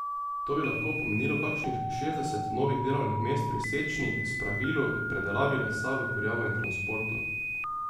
To bi lahko pomenilo kakšnih šestdeset novih delovnih mest pri sečnji, spravilu, predelavi lesa v kurjavo in transportu.